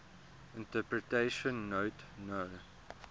interpretation note no